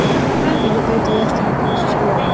Ég beit á jaxlinn og barðist við sjálfa mig.